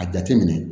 A jateminɛ